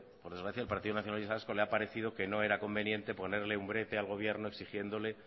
por desgracia al partido nacionalista vasco le ha perecido que no era conveniente ponerle un brete al gobierno exigiéndole